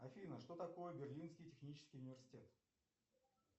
афина что такое берлинский технический университет